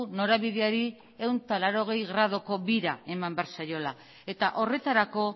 norabideari ehun eta laurogei graduko bira eman behar zaiola eta horretarako